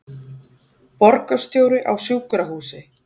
Borgarstjóri á sjúkrahúsi